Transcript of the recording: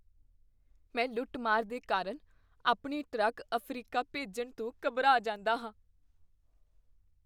ਮੈਂ ਲੁੱਟ ਮਾਰ ਦੇ ਕਾਰਨ ਆਪਣੇ ਟਰੱਕ ਅਫ਼ਰੀਕਾ ਭੇਜਣ ਤੋਂ ਘਬਰਾ ਜਾਂਦਾ ਹਾਂ